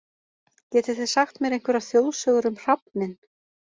Getið þið sagt mér einhverjar þjóðsögur um hrafninn?